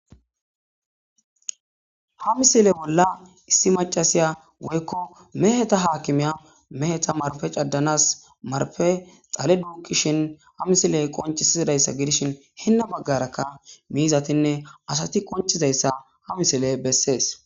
ha misile bolla issi macasiya woykko meheta haakimiya meheta marippe caddanas maripppe dhale duukishin ha misile qonchisizidayssa gidishin hinna baggarakka miizatinne asati qonchizayssa ha misile bessees